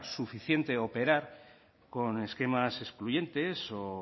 suficiente operar con esquemas excluyentes o